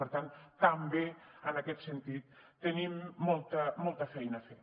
per tant també en aquest sentit tenim molta feina a fer